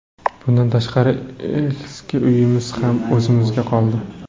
Bundan tashqari, eski uyimiz ham o‘zimizga qoldi.